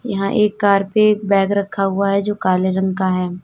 यहां एक कार पे एक बैग रखा हुआ है जो काले रंग का है।